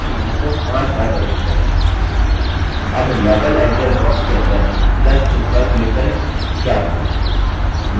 अब level editor box के अंदर plus चिह्न पर click करें क्या हुआ